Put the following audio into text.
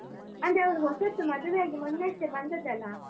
ಅಂದ್ರೆ ಅವರು ಹೊಸತ್ತು ಮದುವೆಯಾಗಿ ಮೊನ್ನೆಯಷ್ಟೇ ಬಂದದ್ದಲ್ಲ?